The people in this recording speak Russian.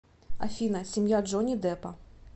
афина семья джонни деппа